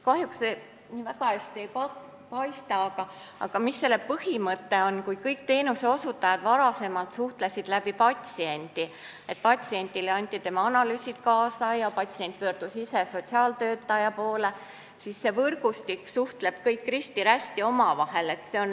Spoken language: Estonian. Põhimõte on selline, et kui varem suhtlesid kõik teenuseosutajad patsiendi kaudu, st patsiendile anti kaasa tema analüüsid ja ta ise pöördus sotsiaaltöötaja poole, siis selles võrgustikus suheldakse omavahel risti-rästi, kõik kõigiga.